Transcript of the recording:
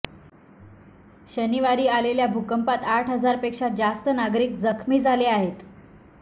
शनिवारी आलेल्या भूकंपात आठ हजार पेक्षा जास्त नागरीक जखमी झाले आहेत